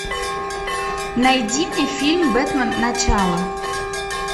найди мне фильм бэтмен начало